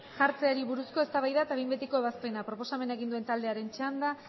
jartzeari buruz eztabaida eta behin betiko ebazpena proposamena egin duen taldearen txanda